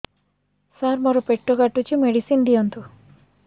ସାର ମୋର ପେଟ କାଟୁଚି ମେଡିସିନ ଦିଆଉନ୍ତୁ